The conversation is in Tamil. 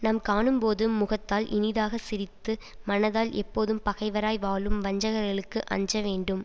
நம் காணும்போது முகத்தால் இனிதாக சிரித்து மனத்தால் எப்போதும் பகைவராய் வாழும் வஞ்சகர்களுக்கு அஞ்சவேண்டும்